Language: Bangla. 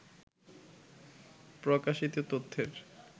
প্রকাশিত তথ্যের